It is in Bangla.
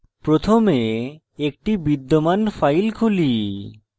প্রথমে একটি বিদ্যমান file খুলি